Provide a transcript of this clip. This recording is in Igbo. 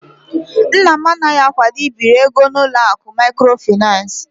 Nna m anaghị akwado ibiri ego n'ụlọ akụ maịkrofaịnans.